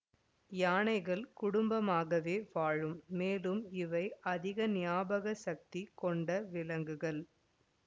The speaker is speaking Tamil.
யானைகள் குடம்பமாகவே வாழும் மேலும் இவை அதிக ஞாபக சக்தி கொண்ட விலங்குகள்